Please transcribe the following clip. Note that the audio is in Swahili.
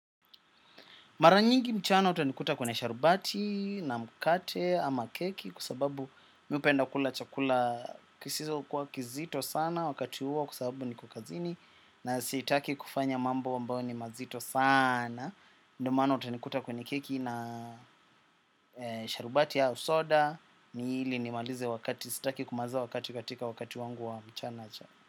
Mara nyingi mchana utanikuta kwenye sharubati na mkate ama keki kwa sababu mi hupenda kula chakula kisizo kuwa kizito sana wakati huo kwa sababu niko kazini na sitaki kufanya mambo ambayo ni mazito sana. Ndio maana utanikuta kwenye keki na sharubati au soda ni ili nimalize wakati sitaki kumaliza wakati katika wakati wangu wa mchana.